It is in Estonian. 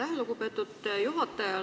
Aitäh, lugupeetud juhataja!